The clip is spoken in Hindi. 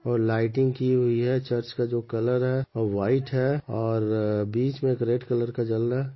और लाइटिंग की हुई है चर्च का जो कलर है व्हाइट है और बीच में एक रेड कलर का जल रहा --